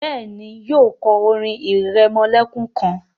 béèni, yíò kò orin iremolekun kán.